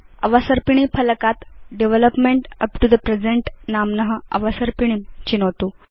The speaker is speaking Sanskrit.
अवसर्पिणी फलकात् development up to the present नाम्न अवसर्पिणीं चिनोतु